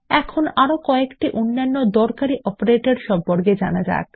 এখন আরো কয়েকটি অন্যান্য দরকারী অপারেটর সম্পর্কে জানা যাক